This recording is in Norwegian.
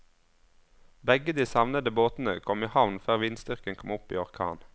Begge de savnede båtene kom i havn før vindstyrken kom opp i orkan.